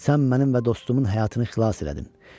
Sən mənim və dostumun həyatını xilas elədin.